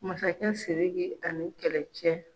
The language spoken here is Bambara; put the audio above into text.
Masakɛ Siriki ani kɛlɛ cɛ.